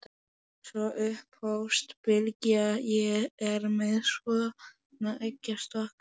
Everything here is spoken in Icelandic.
Sko, upphófst Bylgja, ég er með svona eggjastokk.